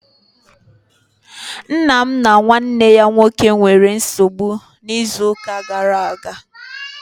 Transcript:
Nna m na nwanne ya nwoke nwere nsogbu n'izu gara aga